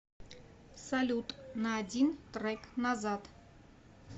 салют на один трек назад